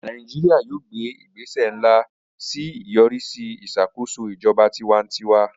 Nàìjíríà yóò gbé ìgbésẹ̀ ńlá sí ìyọrísí ìṣàkóso ijọba tiwantiwa